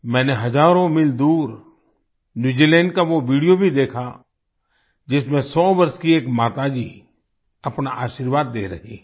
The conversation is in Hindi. मैंने हजारों मील दूर न्यू जीलैंड का वो विडियो भी देखा जिसमें 100 वर्ष की एक माताजी अपना आशीर्वाद दे रही हैं